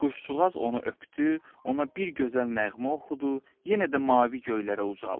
Quşcuğaz onu öpdü, ona bir gözəl nəğmə oxudu, yenə də mavi göylərə ucaldı.